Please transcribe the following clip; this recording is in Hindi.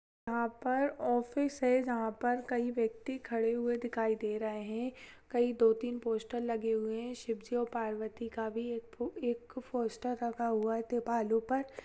यहाँ पर ऑफिस है जहाँ पर कई व्यक्ति खड़े हुए दिखाई दे रहे हैं कहीं दो तीन पोस्टर लगे हुए है शिवजी और पार्वती का भी एक पोस्टर लगा हुआ है दीवारों पर।